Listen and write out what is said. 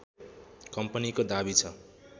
कम्पनीको दाबी छ